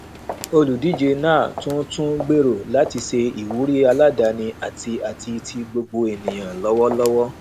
olùdíje náà tún tún gbèrò láti ṣe ìwúrí aládàáni àti àti ti gbogbo ènìyàn lọwọlọwọ